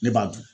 Ne b'a dun